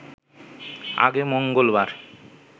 আগে মঙ্গলবার